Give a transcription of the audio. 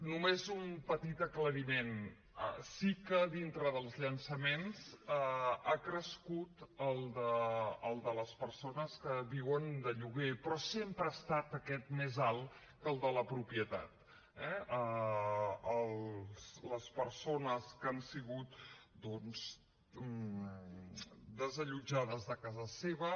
només un petit aclariment sí que dintre dels llançaments ha crescut el de les persones que viuen de lloguer però sempre ha estat aquest més alt que el de la propietat eh les persones que han sigut doncs desallotjades de casa seva